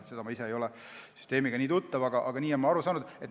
Ma ise ei ole selle süsteemiga väga tuttav, aga nii olen ma aru saanud.